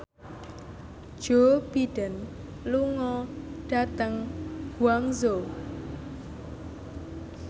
Joe Biden lunga dhateng Guangzhou